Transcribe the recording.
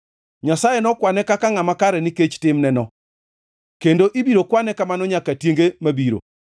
Nyasaye nokwane kaka ngʼama kare nikech timneno, kendo ibiro kwane kamano nyaka tienge mabiro.